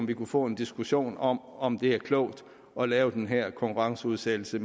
vi kunne få en diskussion om om det er klogt at lave den her konkurrenceudsættelse